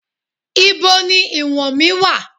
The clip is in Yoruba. Ibo ni ìwọ̀n mí wà?